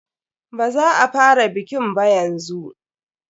Baza a fara bikin ba yanzu.